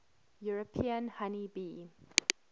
european honey bee